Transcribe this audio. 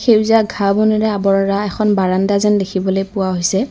সেউজীয়া ঘাঁহ বনেৰে আৱৰা এখন বাৰানণ্ডা যেন দেখিবলৈ পোৱা হৈছে।